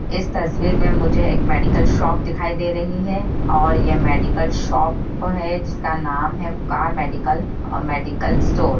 इस तस्वीर में मुझे एक मेडिकल शॉप दिखाई दे रही है और ये मेडिकल शॉप है जिसका नाम है का मेडिकल और मेडिकल स्टोर |